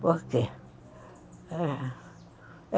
Por quê?